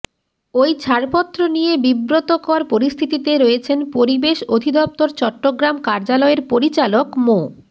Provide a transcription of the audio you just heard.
ওই ছাড়পত্র নিয়ে বিব্রতকর পরিস্থিতিতে রয়েছেন পরিবেশ অধিদপ্তর চট্টগ্রাম কার্যালয়ের পরিচালক মো